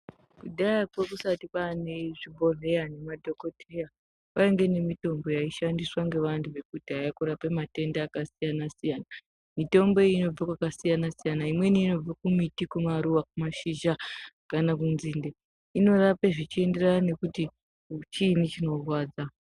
Kudhayako kusati kwane zvibhedhleya nemadhokodheya kwainge nemiombo yaishandiswa ngevantu vekudhaya kurapa matenda akasiyana siyana. Mitombo iyi inobva pakasiyana siyana imweni inobve kumiti, kumaruwa, kumashizha kana kunzinde inorape zvichienderane nekuti chiini chinorwadza.